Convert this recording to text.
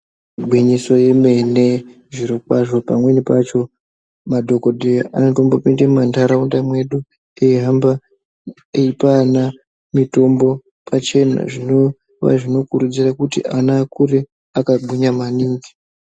Igwinyiso yemene. Zvirokwazvo pamweni pacho madhokodheya anotombopinde mumantaraunda medu eihamba eipa ana mitombo pachena zvinova zvinokurudzirwa kuti ana kuti akure akagwinya maningi.